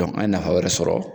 Dɔnku an ye nafa wɛrɛ sɔrɔ